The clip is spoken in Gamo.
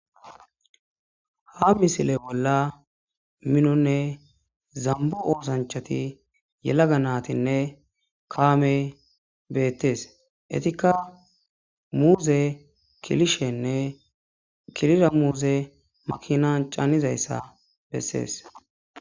ha misile bolla minonne zambo oosanchati yelaga naatinne kaamey beettees etikka muuze kilishenne kilira muuze makinan canizayssa bessees